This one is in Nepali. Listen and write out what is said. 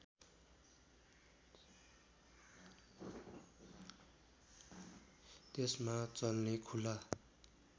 त्यसमा चल्ने खुला